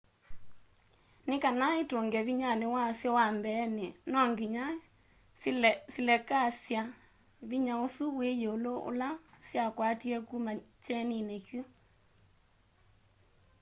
nikana itunge vinyani wasyo wa mbeeni no nginya silekasya vinya usu wi yiulu ula syakwatie kuma kyenini kyu